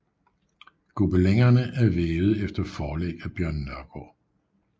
Gobelinerne er vævet efter forlæg af Bjørn Nørgaard